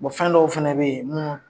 fɛn dɔw fɛnɛ bɛ yen